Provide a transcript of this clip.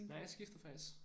Nej jeg skiftede faktisk